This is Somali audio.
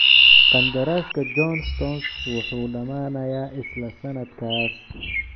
Qandaraaska John Stones wuxuu dhamaanayaa isla sanadkaas.